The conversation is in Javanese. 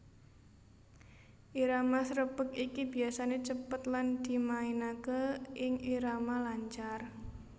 Irama srepeg iki biasané cepet lan dimainaké ing irama lancar